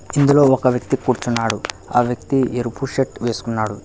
ఇందులో ఒక వ్యక్తి కూర్చున్నాడు ఆ వ్యక్తి ఎరుపు షర్ట్ వేసుకున్నాడు.